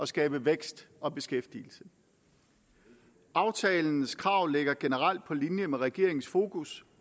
skabe vækst og beskæftigelse aftalens krav ligger generelt på linje med regeringens fokus